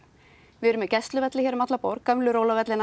við erum með gæsluvelli hér um alla borg gömlu